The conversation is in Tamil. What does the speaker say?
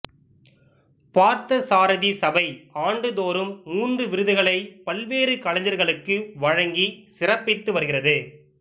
பார்த்தசாரதி சபை ஆண்டுதோறும் மூன்று விருதுகளை பல்வேறு கலைஞர்களுக்கு வழங்கி சிறப்பித்து வருகிறது